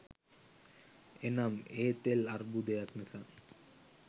එනම් ඒ තෙල් අර්බුදයක් නිසා